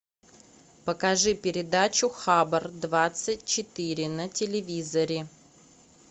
покажи передачу хабар двадцать четыре на телевизоре